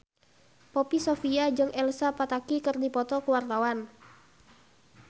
Poppy Sovia jeung Elsa Pataky keur dipoto ku wartawan